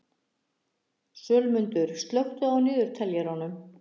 Sölmundur, slökktu á niðurteljaranum.